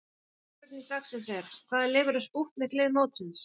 Síðari spurning dagsins er: Hvaða lið verður spútnik lið mótsins?